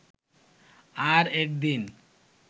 আর একদিন